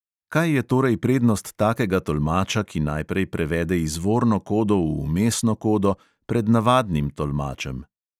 Kaj je torej prednost takega tolmača, ki najprej prevede izvorno kodo v vmesno kodo, pred navadnim tolmačem?